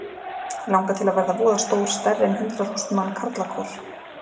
Mig langar til að verða voða stór stærri en hundrað þúsund manna karlakór.